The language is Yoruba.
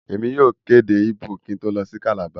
Èmi yóò kò èdè Igbó kín ń tó lọ si Calabar.